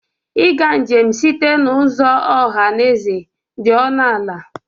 Ịga njem site n'ụzọ ọha na eze dị ọnụ ala.